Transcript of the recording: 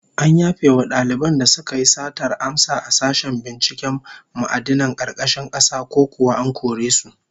An yafe wa daliban da suka yi satar amsa a sashen binciken ma'adinan karkashin kasa, ko kuwa an kore su?